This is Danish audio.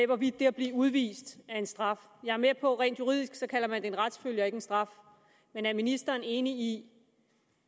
hvorvidt det at blive udvist er en straf jeg er med på at man rent juridisk kalder det en retsfølge og ikke en straf men er ministeren enig i